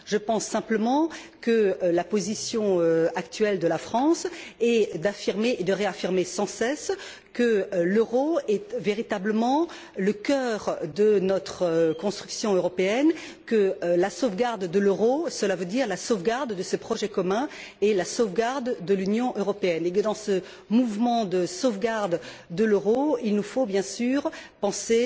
Je pense simplement que la position actuelle de la France est d'affirmer, et de réaffirmer sans cesse, que l'euro est véritablement le cœur de notre construction européenne, que la sauvegarde de l'euro cela veut dire la sauvegarde de ce projet commun et la sauvegarde de l'Union européenne, et que, dans ce mouvement de sauvegarde de l'euro, il nous faut bien sûr penser